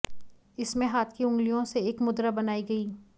इसमें हाथ की उंगलियों से एक मुद्रा बनाई गई